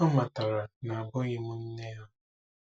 Ha matara na abụghị m nne ha.